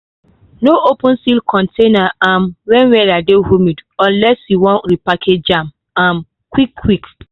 no open sealed container um when weather dey humid unless you wan repackage am um quick-quick.